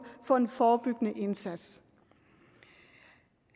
for en forebyggende indsats